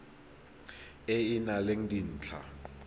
e e nang le dintlha